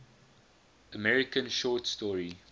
american short story